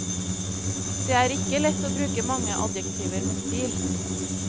Det er ikke lett å bruke mange adjektiver med stil.